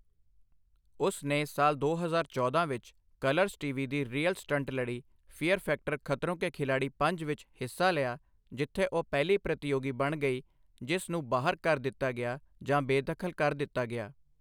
ਉਸ ਨੇ ਸਾਲ ਦੋ ਹਜ਼ਾਰ ਚੌਦਾਂ ਵਿੱਚ, ਕਲਰਜ਼ ਟੀ.ਵੀ. ਦੀ ਰੀਅਲ ਸਟੰਟ ਲੜੀ ਫੀਅਰ ਫੈਕਟਰ ਖਤਰੋਂ ਕੇ ਖਿਲਾੜੀ ਪੰਜ ਵਿੱਚ ਹਿੱਸਾ ਲਿਆ ਜਿੱਥੇ ਉਹ ਪਹਿਲੀ ਪ੍ਰਤੀਯੋਗੀ ਬਣ ਗਈ ਜਿਸ ਨੂੰ ਬਾਹਰ ਕਰ ਦਿੱਤਾ ਗਿਆ ਜਾਂ ਬੇਦਖਲ ਕਰ ਦਿੱਤਾ ਗਿਆ।